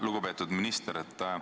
Lugupeetud minister!